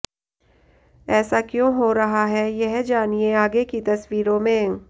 ऐसा क्यों हो रहा है यह जानिए आगे की तस्वीरों में